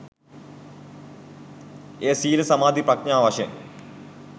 එය සීල සමාධි ප්‍රඥා වශයෙන්